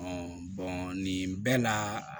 nin bɛɛ la